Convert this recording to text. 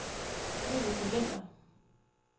Vibeke Vinther